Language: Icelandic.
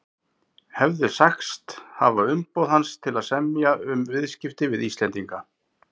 hefði sagst hafa umboð hans til að semja um viðskipti við Íslendinga.